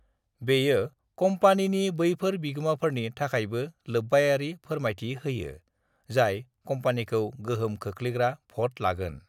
बेयो कम्पानिनि बैफोर बिगोमाफोरनि थाखायबो लोब्बायारि फोरमायथि होयो जाय कम्पानिखौ गोहोम खोख्लैग्रा भ'ट लागोन।